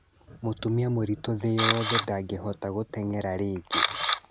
Mũtumia mũritũ thĩ yothe ndangĩhota gũteng'era rĩngĩ